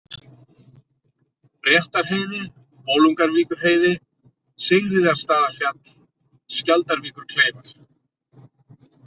Réttarheiði, Bolungarvíkurheiði, Sigríðarstaðafjall, Skjaldarvíkurkleifar